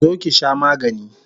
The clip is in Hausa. Zo ki sha magani!